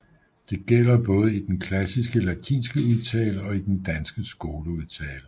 Det gælder både i den klassisk latinske udtale og i den danske skoleudtale